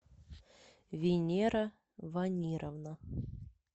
венера ванировна